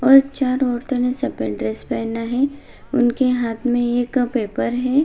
और चार औरतों ने सफेद ड्रेस पहना है उनके हाथ में पेपर है।